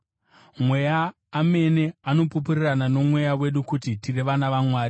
Mweya amene anopupurirana noMweya wedu kuti tiri vana vaMwari.